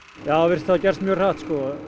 já það virðist hafa gerst mjög hratt